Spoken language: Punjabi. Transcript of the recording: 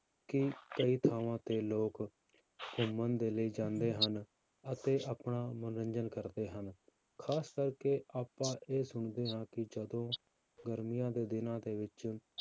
ਕਿ ਕਈ ਥਾਵਾਂ ਤੇ ਲੋਕ ਘੁੰਮਣ ਦੇ ਲਈ ਜਾਂਦੇ ਹਨ ਅਤੇ ਆਪਣਾ ਮਨੋਰੰਜਨ ਕਰਦੇ ਹਨ, ਖ਼ਾਸ ਕਰਕੇ ਆਪਾਂ ਇਹ ਸੁਣਦੇ ਹਾਂ ਕਿ ਜਦੋਂ ਗਰਮੀਆਂ ਦੇ ਦਿਨਾਂ ਦੇ ਵਿੱਚ